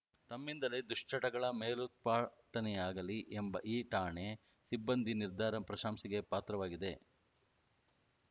ತಮ್ಮಿಂದಲೇ ದುಶ್ಚಟಗಳ ಮೇಲೋತ್ಪಾಟನೆಯಾಗಲಿ ಎಂಬ ಈ ಠಾಣೆ ಸಿಬ್ಬಂದಿ ನಿರ್ಧಾರ ಪ್ರಶಂಸೆಗೆ ಪಾತ್ರವಾಗಿದೆ